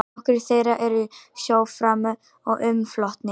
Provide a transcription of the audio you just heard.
Nokkrir þeirra eru í sjó frammi og umflotnir.